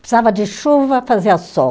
Precisava de chuva, fazia sol.